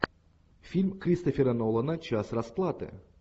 фильм кристофера нолана час расплаты